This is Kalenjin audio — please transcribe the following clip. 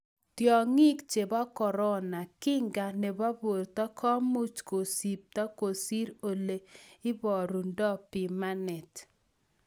tiong'ik chebo corona: Kinga nebo borto komuch kusipto kosir ole ibarundo pimanet.